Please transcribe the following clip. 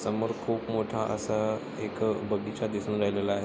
समोर खूप मोठा असा एक बगीचा दिसून राहिलेला आहे.